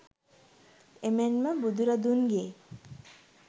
එමෙන්ම බුදුරදුන්ගේ